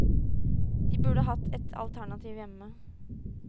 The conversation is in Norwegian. De burde hatt et alternativ hjemme.